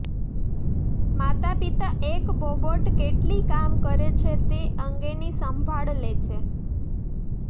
માતાપિતા એક બોબોટ કેટલી કામ કરે છે તે અંગેની સંભાળ લે છે